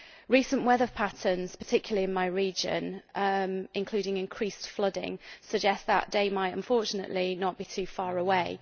Recent weather patterns particularly, in my region, including increased flooding suggest that day might unfortunately not be too far away.